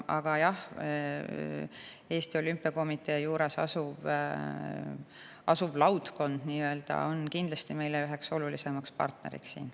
Aga jah, Eesti Olümpiakomitee juures asuv nii-öelda laudkond on siin kindlasti meie üks olulisemaid partnereid.